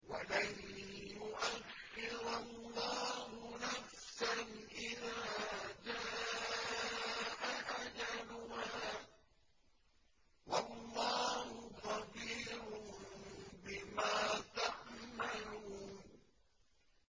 وَلَن يُؤَخِّرَ اللَّهُ نَفْسًا إِذَا جَاءَ أَجَلُهَا ۚ وَاللَّهُ خَبِيرٌ بِمَا تَعْمَلُونَ